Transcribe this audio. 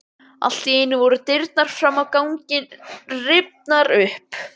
Allt í einu voru dyrnar fram á ganginn rifnar upp.